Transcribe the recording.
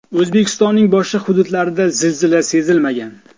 O‘zbekistonning boshqa hududlarida zilzila sezilmagan.